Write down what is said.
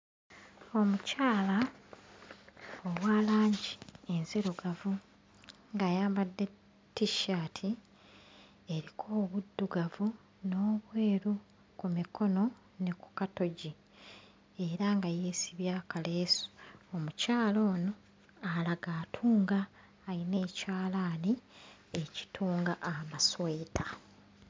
Omukyala owa langi enzirugavu ng'ayambadde ttissaati eriko obuddugavu n'obweru ku mikono ne ku katogi era nga yeesibye akaleesu. Omukyala ono alaga atunga, ayina ekyalaani ekitunga amasweta.